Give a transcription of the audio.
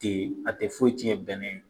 Ten a tɛ foyi tiɲɛ bɛnɛn ye.